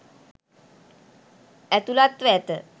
ඇතුළත්ව ඇත.